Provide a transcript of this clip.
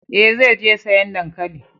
Eh, zai je sayan dankalin.